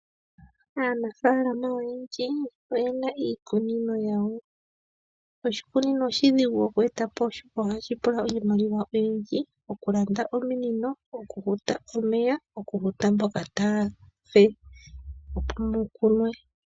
Aanafaalama oyendji oyena iikunino yawo. Oshikunino oshidhigu okweeta po, oshoka ohashi pula iimaliwa oyindji. Okulanda ominino, okufuta omeya naamboka taa fulu opo mu kunwe.